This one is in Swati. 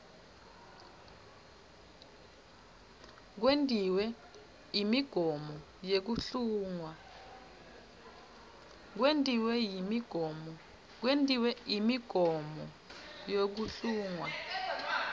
kwentiwe imigomo yekuhlungwa